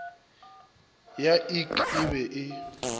ya ik e be e